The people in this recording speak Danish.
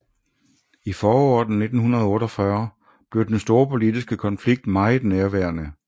I foråret 1948 blev den storpolitiske konflikt meget nærværende